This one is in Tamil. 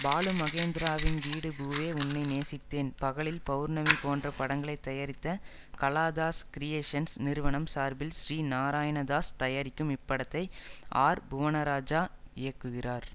பாலுமகேந்திராவின் வீடு பூவே உன்னை நேசித்தேன் பகலில் பௌர்ணமி போன்ற படங்களை தயாரித்த கலாதாஸ் கிரியேஷன்ஸ் நிறுவனம் சார்பில் ஸ்ரீ நாராயணதாஸ் தயாரிக்கும் இப்படத்தை ஆர் புவனராஜா இயக்குகிறார்